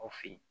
Aw fe yen